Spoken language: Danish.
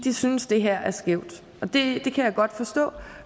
synes det her er skævt og det kan jeg godt forstå